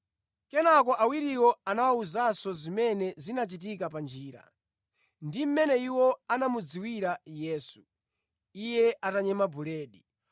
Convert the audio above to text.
Kenaka awiriwo anawawuza zimene zinachitika pa njira, ndi mmene iwo anamudziwira Yesu, Iye atanyema buledi.